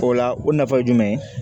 O la o nafa ye jumɛn ye